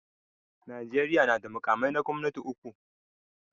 Najeriya na da makamai na gwamnati uku.